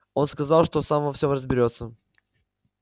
он сказал что сам во всем разберётся